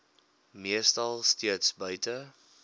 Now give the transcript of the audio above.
meestal steeds buite